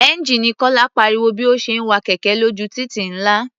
Ẹ́ńjíìnì Kọ́lá pariwo bí ó ṣe ń wa kẹ̀kẹ́ lójú títì ńlá.